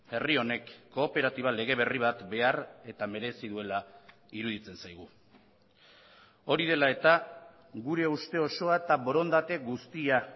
herri honek kooperatiba lege berri bat behar eta merezi duela iruditzen zaigu hori dela eta gure uste osoa eta borondate guztia